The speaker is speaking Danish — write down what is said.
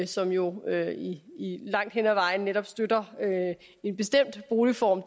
som jo langt hen ad vejen netop støtter en bestemt boligform